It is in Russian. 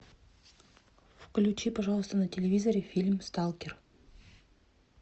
включи пожалуйста на телевизоре фильм сталкер